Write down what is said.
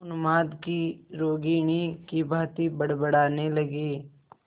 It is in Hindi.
उन्माद की रोगिणी की भांति बड़बड़ाने लगी